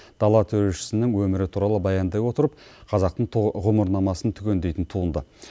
дала төрешісінің өмірі туралы баяндай отырып қазақтың ғұмырнамасын түгендейтін туынды